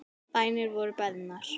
Bænir voru beðnar.